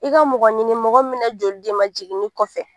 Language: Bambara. I ka mɔgɔ ɲini mɔgɔ min mɛna joli d'i ma jiginni kɔfɛ.